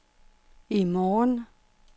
i morgen